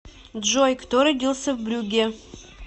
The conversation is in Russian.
джой кто родился в брюгге